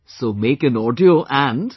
So make an audio and...